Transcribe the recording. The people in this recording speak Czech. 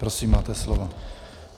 Prosím, máte slovo.